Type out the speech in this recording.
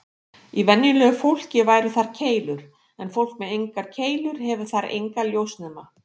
Í venjulegu fólki væru þar keilur, en fólk með engar keilur hefur þar enga ljósnema.